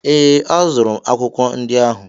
Ee, azụrụ m akwụkwọ ndị ahụ